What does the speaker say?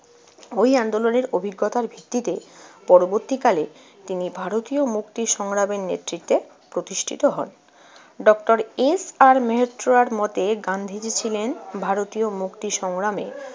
ওই আন্দোলনের অভিজ্ঞতার ভিত্তিতে পরবর্তীকালে তিনি ভারতীয় মুক্তি সংগ্রামের নেতৃত্বে প্রতিষ্ঠিত হন। ডক্টর ইস আর মেহেত্রার মতে, গান্ধীজি ছিলেন ভারতীয় সংগ্রামে